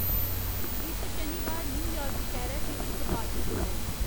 इस शनिबार न्यूयार्क शैह्रै च इक पार्टी जोड़ो